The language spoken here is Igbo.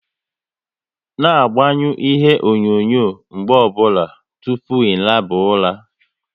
Na agbanyu ihe onyonyo mgbe ọ bụla tụpụ ị naba ula!